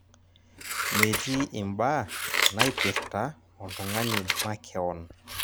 Metii imbaa naipirta oltung'ani makeon.